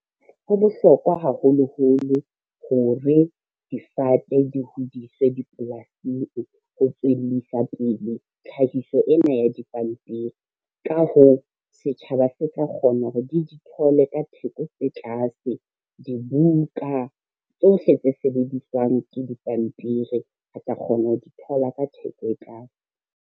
Ho bohlokwa haholoholo hore difate di hodiswe dipolasing ho tswellisa pele tlhahiso ena ya dipampiri. Ka hoo, setjhaba se tla kgona hore di di thole ka theko tse tlase, dibuka tsohle tse sebediswang ke dipampiri re tla kgona ho di thola ka theko e tlase.